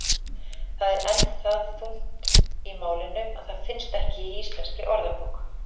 Það er enn það ungt í málinu að það finnst ekki í Íslenskri orðabók.